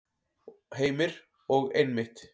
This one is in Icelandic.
Heimir: Og einmitt.